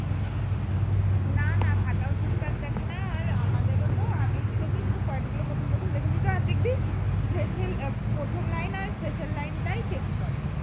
না না খাতা ও ঠিক ঠাক দেখেনা আর আমাদের ও তো আগে কি করতো শুধু point গুলো প্রথম প্রথম দেখেনি তো অদ্ধেকটা শেষের প্রথম line টা শেষ এর line টা তাই check করে